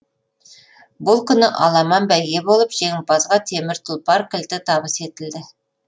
бұл күні аламан бәйге болып жеңімпазға темір тұлпар кілті табыс етілді